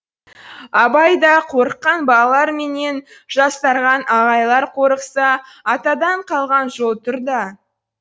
абай да қорыққан балалар менен жастардан ағайлар қорықса атадан қалған жол тұр да